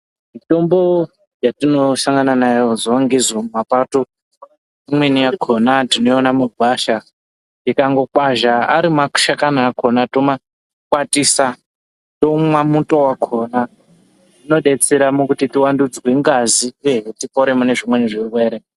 Mitombo yatino sangana nayo zuva nezuva mumapato imwene yakona toiwona mugwasha tikangokwazha ari mashakani akona toma kwatisa tomwa muto wakona zvino betsera kuti tiwa ndudzwe ngazi uyehe tipore mune zvimweni zvirwere .